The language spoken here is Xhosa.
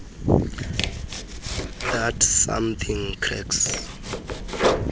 that something cracks